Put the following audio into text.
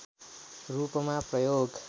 रूपमा प्रयोग